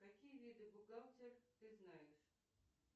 какие виды бухгалтер ты знаешь